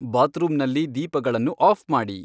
ಬಾತ್ರೂಮ್ನಲ್ಲಿ ದೀಪಗಳನ್ನು ಆಫ್ ಮಾಡಿ